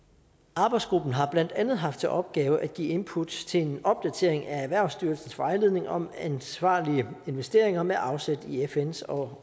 arbejdsgruppen har blandt andet haft til opgave at give input til en opdatering af erhvervsstyrelsens vejledning om ansvarlige investeringer med afsæt i fns og